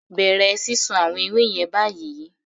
Bẹ̀rẹ̀ sísun àwọn ewé yẹn báyìí!